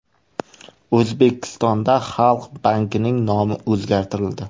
O‘zbekistonda Xalq bankining nomi o‘zgartirildi.